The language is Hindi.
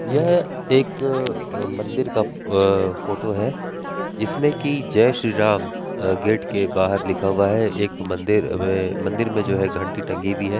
यह एक अ मंदिर का अ फोटो है जिसमें की जय श्री राम गेट के बाहर लिखा हुआ है| एक मंदिर इ मंदिर में जो है घण्टी टंगी हुई है।